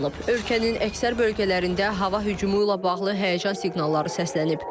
Ölkənin əksər bölgələrində hava hücumu ilə bağlı həyəcan siqnalları səslənib.